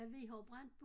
Hvad vi har jo brændt